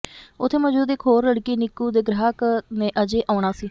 ਉੱਥੇ ਮੌਜੂਦ ਇਕ ਹੋਰ ਲੜਕੀ ਨਿਕੂ ਦੇ ਗ੍ਰਾਹਕ ਨੇ ਅਜੇ ਆਉਣਾ ਸੀ